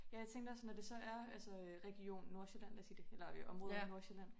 Ja jeg tænkte også når det så er altså øh region Nordsjælland lad os sige det eller område Nordsjælland